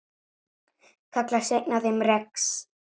Kallast einn af þeim rex.